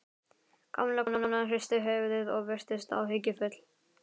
Gamla konan hristi höfuðið og virtist áhyggjufull.